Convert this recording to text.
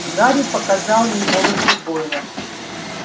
гарри показал ей волосы гойла